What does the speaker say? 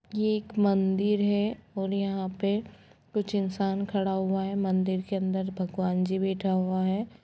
ये एक मन्दिर हैं और यहाँ पर कुछ इंसान खड़ा हुआ हैं मन्दिर के अंदर भगवान जी बैठा हुआ है।